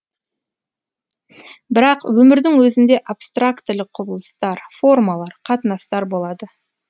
бірақ өмірдің өзінде абстрактілік құбылыстар формалар қатынастар болады